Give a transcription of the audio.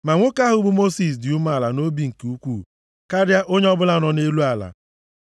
(Ma nwoke ahụ bụ Mosis dị umeala nʼobi nke ukwuu karịa onye ọbụla nọ nʼelu ala.)